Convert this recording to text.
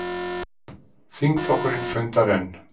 Þingflokkurinn fundar enn